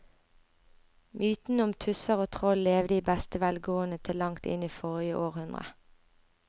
Mytene om tusser og troll levde i beste velgående til langt inn i forrige århundre.